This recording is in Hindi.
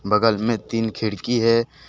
बगल में तीन खिड़की हैं।